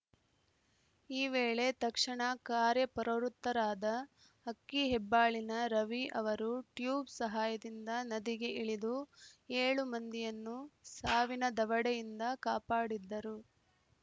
ಈ ವೇಳೆ ತಕ್ಷಣ ಕಾರ್ಯಪ್ರವೃತ್ತರಾದ ಅಕ್ಕಿಹೆಬ್ಬಾಳಿನ ರವಿ ಅವರು ಟ್ಯೂಬ್‌ ಸಹಾಯದಿಂದ ನದಿಗೆ ಇಳಿದು ಏಳು ಮಂದಿಯನ್ನೂ ಸಾವಿನ ದವಡೆಯಿಂದ ಕಾಪಾಡಿದ್ದರು